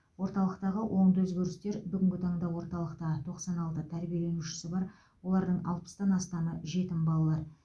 орталықтағы оңды өзгерістер бүгінгі таңда орталықта тоқсан алты тәрбиеленуші бар олардың алпыстан астамы жетім балалар